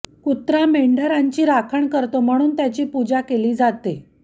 कुत्रा मेंढरांची राखण करतो म्हणून त्याची पूजा केली जाते